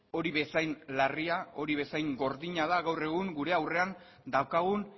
hori bezain larria hori bezain gordina da gaur egun gure aurrean daukagun